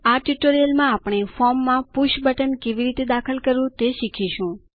આ ટ્યુટોરીયલમાં આપણે ફોર્મમાં પુષ બટન કેવી રીતે દાખલ કરવું તે શીખીશું